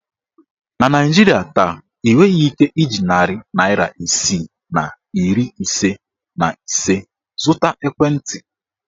Na Naijiria taa, ị nweghị ike iji narị naịra isii na iri ise na ise zụta ekwentị.